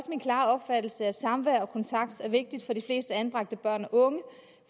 min klare opfattelse at samvær og kontakt er vigtigt for de fleste anbragte børn og unge